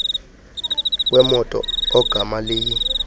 wemoto ogama liyi